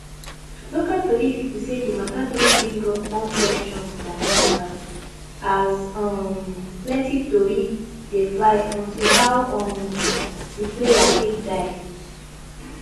local tori pipo say di matter don bring up more questions dan answers as um plenty tori dey fly unto how um di player take die